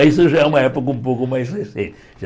Mas isso já é uma época um pouco mais recente já.